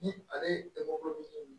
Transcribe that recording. Ni ale ye dɔgɔkun duuru